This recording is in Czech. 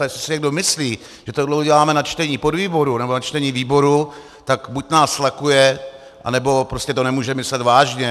A jestli si někdo myslí, že tohle uděláme na čtení podvýboru nebo na čtení výboru, tak buď nás lakuje, anebo prostě to nemůže myslet vážně.